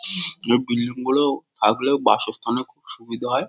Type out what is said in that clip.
ইসস এই বিল্ডিং -গুলো থাকলেও বাসস্থানের খুব সুবিধে হয় ।